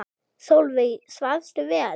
Sólveig: Svafstu vel?